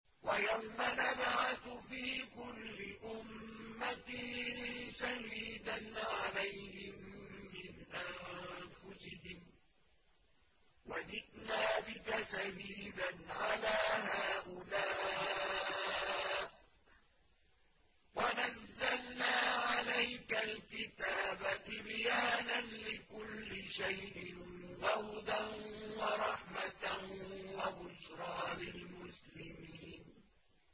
وَيَوْمَ نَبْعَثُ فِي كُلِّ أُمَّةٍ شَهِيدًا عَلَيْهِم مِّنْ أَنفُسِهِمْ ۖ وَجِئْنَا بِكَ شَهِيدًا عَلَىٰ هَٰؤُلَاءِ ۚ وَنَزَّلْنَا عَلَيْكَ الْكِتَابَ تِبْيَانًا لِّكُلِّ شَيْءٍ وَهُدًى وَرَحْمَةً وَبُشْرَىٰ لِلْمُسْلِمِينَ